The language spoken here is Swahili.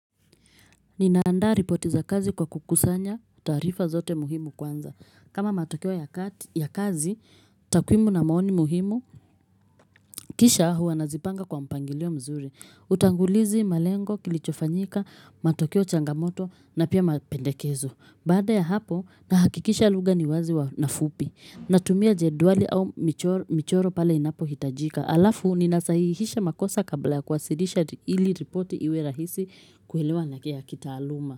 Ninaandaa ripoti za kazi kwa kukusanya taarifa zote muhimu kwanza. Kama matokeo ya kazi, takwimu na maoni muhimu, kisha huwa nazipanga kwa mpangilio mzuri. Utangulizi, malengo, kilichofanyika, matokeo, changamoto na pia mapendekezo. Baada ya hapo, nahakikisha lugha ni wazi na fupi. Natumia jedwali au michoro pale inapohitajika. Halafu, ninasahihisha makosa kabla kuwasilisha ili ripoti iwe rahisi kuelewa na ya kitaaluma.